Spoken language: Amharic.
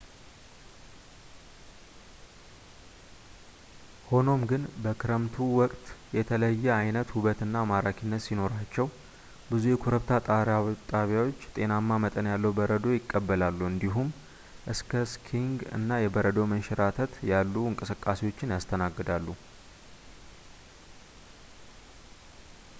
ሆኖም ግን ፣ በክረምቱ ወቅት የተለየ ዓይነት ውበት እና ማራኪነት ሲኖራቸው ፣ ብዙ የኮረብታ ጣቢያዎች ጤናማ መጠን ያለው በረዶ ይቀበላሉ እንዲሁም እንደ ስኪንግ እና የበረዶ መንሸራተት ያሉ እንቅስቃሴዎችን ያስተናግዳሉ